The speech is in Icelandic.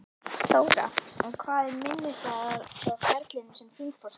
Þóra: En hvað er minnisstæðast frá ferlinum sem þingforseti?